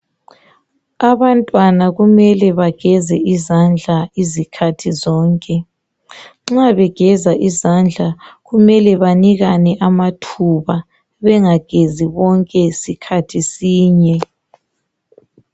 Abantwana kumele bageze indlandla zikhathi zonke. Nxa begeza idlandla kumele banikane amathuba, bengagezi bonke sikhathi sinye.